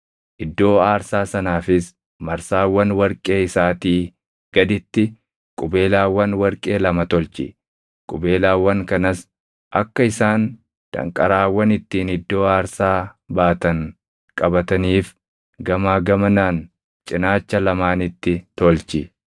Iddoo aarsaa sanaafis marsaawwan warqee isaatii gaditti qubeelaawwan warqee lama tolchi; qubeelaawwan kanas akka isaan danqaraawwan ittiin iddoo aarsaa baatan qabataniif gamaa gamanaan cinaacha lamaanitti tolchi.